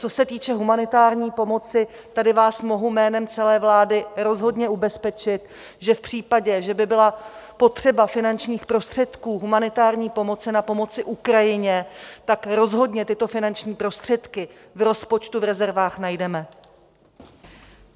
Co se týče humanitární pomoci, tady vás mohu jménem celé vlády rozhodně ubezpečit, že v případě, že by byla potřeba finančních prostředků humanitární pomoci na pomoci Ukrajině, tak rozhodně tyto finanční prostředky v rozpočtu v rezervách najdeme.